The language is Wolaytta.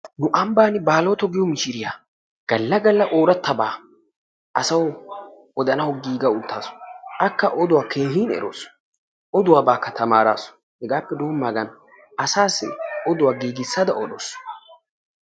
nu ambbaani baaloto giyo mishiriya gala gala ooratabaa asawu odanawu giiga utaasu. Akka oduwa keehin erawusu. Oduwabaakka erawusu. Hegaappe denddidaagan asaassi oduwa giigisada odawusu.